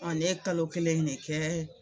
ne ye kalo kelen ne kɛ.